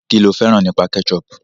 Kí lo fẹ́ràn nípa ketchup?